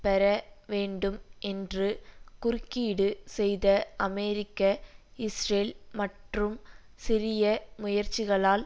பெற வேண்டும் என்று குறுக்கீடு செய்த அமெரிக்க இஸ்ரேல் மற்றும் சிரிய முயற்சிகளால்